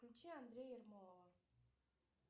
включи андрея ермолова